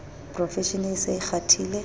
profeshene e se e kgathile